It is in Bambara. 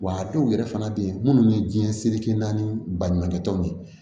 Wa a dɔw yɛrɛ fana bɛ yen minnu bɛ diɲɛ serikɛ naani baɲumankɛtɔn